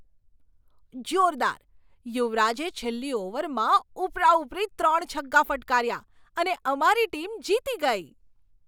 જોરદાર! યુવરાજે છેલ્લી ઓવરમાં ઉપરાઉપરી ત્રણ છગ્ગા ફટકાર્યા અને અમારી ટીમ જીતી ગઈ.